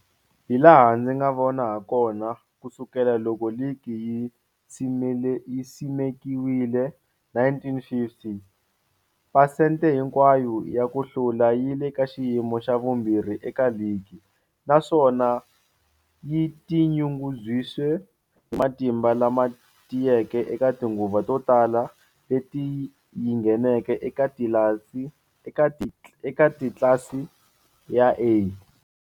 Hilaha ndzi nga vona hakona, ku sukela loko ligi yi simekiwile, 1950, phesente hinkwayo ya ku hlula yi le ka xiyimo xa vumbirhi eka ligi, naswona yi tinyungubyisa matimba lama tiyeke eka tinguva to tala leti yi ngheneke eka tlilasi ya A.